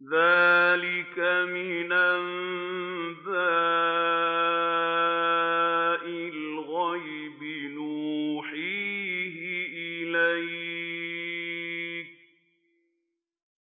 ذَٰلِكَ مِنْ أَنبَاءِ الْغَيْبِ نُوحِيهِ إِلَيْكَ ۖ